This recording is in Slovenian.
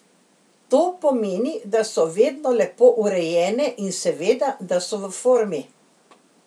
To pomeni, da so vedno lepo urejene in seveda da so v formi.